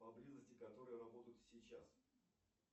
поблизости которые работают сейчас